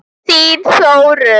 Þín Þórunn.